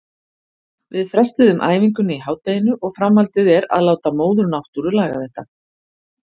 Við frestuðum æfingunni í hádeginu og framhaldið er að láta móður náttúru laga þetta.